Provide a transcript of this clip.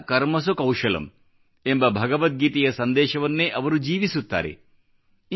ಯೋಗಃ ಕರ್ಮಸು ಕೌಶಲಮ್ ಎಂಬ ಭಗವದ್ಗೀತೆಯ ಸಂದೇಶವನ್ನೇ ಅವರು ಜೀವಿಸುತ್ತಾರೆ